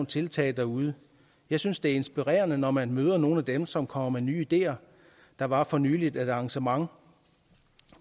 tiltag derude jeg synes det er inspirerende når man møder nogle af dem som kom med nye ideer der var for nylig et arrangement